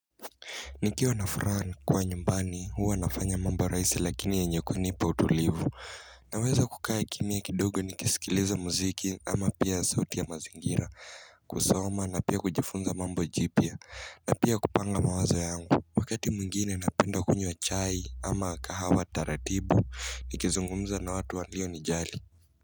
Nikiwa na furaha kwa nyumbani huwa nafanya mamba raisi lakini yenye kunipa utulivu Naweza kukaa kimya kidogo nikisikiliza muziki ama pia sauti ya mazingira kusoma na pia kujifunza mambo jipya na pia kupanga mawazo yangu Wakati mwengine napenda kunywa chai ama kahawa taratibu nikizungumza na watu walionijali.